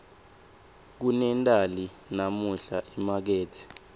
kunendali namuhla emakethe